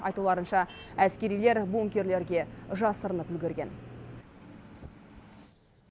айтуларынша әскерилер бункерлерге жасырынып үлгерген